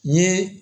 N ye